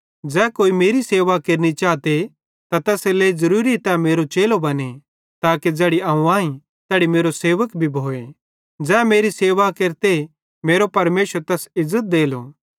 ज़ै कोई मेरी सेवा केरनि चाते त तैसेरेलेइ ज़रूरीए तै मेरो चेलो बने ताके ज़ैड़ी अवं आईं तैड़ी मेरो सेवक भी भोए ज़ै मेरी सेवा केरते मेरो परमेशर तैस इज़्ज़त देलो